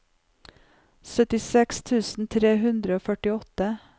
syttiseks tusen tre hundre og førtiåtte